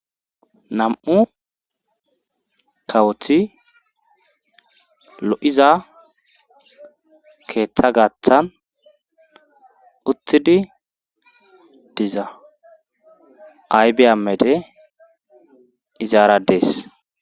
Nam'u kawothi lo7iza keeththa gaaththan uthidi diza aybeyamede izaara dees